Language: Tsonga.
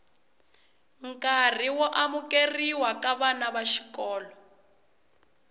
nkarhi wo amukerhiwa ka vana vaxikolo